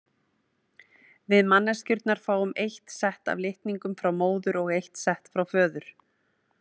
Við manneskjurnar fáum eitt sett af litningum frá móður og eitt sett frá föður.